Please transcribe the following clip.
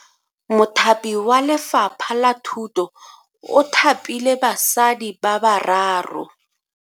Mothapi wa Lefapha la Thuto o thapile basadi ba bararo.